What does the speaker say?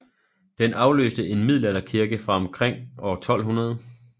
Den afløste en middelalderkirke fra omkring år 1200